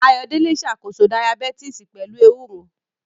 Ayọ̀délé ṣàkóso Dayabítìsì pẹ̀lú ewúro